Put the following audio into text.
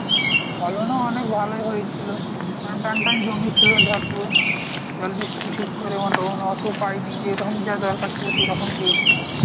পালনও অনেক ভালোই হয়েছিল, কারণ টানটান জমি ছিল ভরপুর, জলবৃষ্টি ঠিক করে অন্য~ অন্য~ অত পাইনি যেরকম যা দরকার ছিল, সেরকম পেয়েছিল.